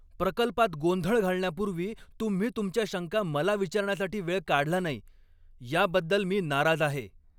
प्रकल्पात गोंधळ घालण्यापूर्वी तुम्ही तुमच्या शंका मला विचारण्यासाठी वेळ काढला नाही याबद्दल मी नाराज आहे.